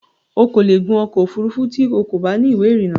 O kò lè gun ọkọ̀ òfurufú tí o kò bá ní ìwé ìrìnnà